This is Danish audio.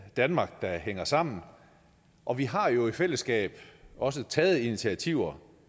danmark der hænger sammen og vi har jo i fællesskab også taget initiativer